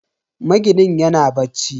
Maginin yana bacci.